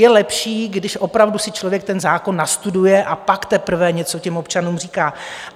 Je lepší, když opravdu si člověk ten zákon nastuduje a pak teprve něco těm občanům říká.